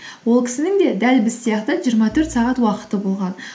ол кісінің де дәл біз сияқты жиырма төрт сағат уақыты болған